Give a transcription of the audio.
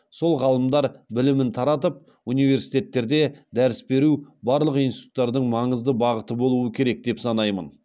сол ғалымдар білімін таратып университеттерде дәріс беру барлық институттардың маңызды бағыты болуы керек деп санаймын